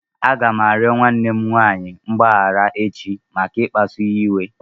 Aga m arịọ nwanne m nwaanyị mgbaghara echi maka ikpasụ ya iwe.